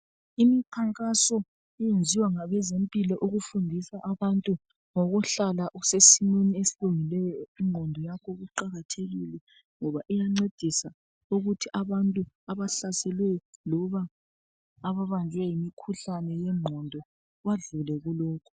Imikhankaso eyenziwa ngabezempilo ukufundisa abantu ngokuhlala usesimeni esilungileyo. Ingqondo yakho iqakathekile ngoba iyancedisa ukuthi abantu abahlaselweyo , loba ababanjwe yimikhuhlane yengqondo badlule kulokhu.